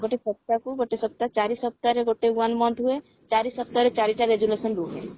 ଗୋଟେ ସପ୍ତାହକୁ ଗୋଟେ ସପ୍ତାହ ଚାରି ସପ୍ତାହରେ ଗୋଟେ one month ହୁଏ ଚାରି ସପ୍ତାହରେ ଚାରିଟା resolution ରୁହେ